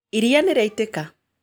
Iria nĩrĩaitĩka